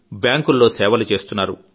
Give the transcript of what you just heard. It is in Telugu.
బ్యాంకుల్లో సేవలు చేస్తున్నారు